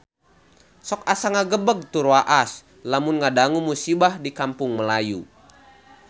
Sok asa ngagebeg tur waas lamun ngadangu musibah di Kampung Melayu